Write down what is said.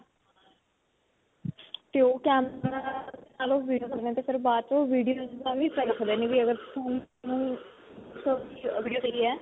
ਤੇ ਓਹ ਵੀਡਿਓ ਫਿਰ ਬਾਦ 'ਚੋ ਓਹ ਵੀਡਿਓ .